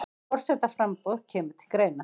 Forsetaframboð kemur til greina